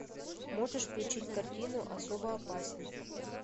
можешь включить картину особо опасен